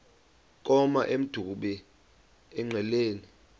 koma emdumbi engqeleni